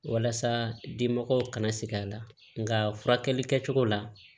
Walasa dimɔgɔw kana segin a la nka furakɛli kɛcogo la